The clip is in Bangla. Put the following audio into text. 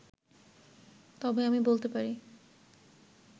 তবে আমি বলতে পারি